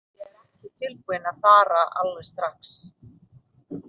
Ég er ekki tilbúinn að fara alveg strax.